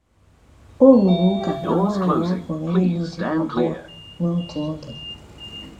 O rụrụ ụka na nwanyị apụghị ịlụ di abụọ n’otu oge.